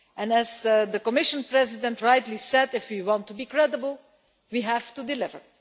As the Commission President rightly said, if we want to be credible, we have to deliver.